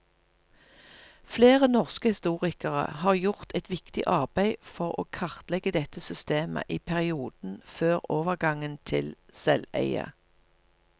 Flere norske historikere har gjort et viktig arbeid for å kartlegge dette systemet i perioden før overgangen til selveie.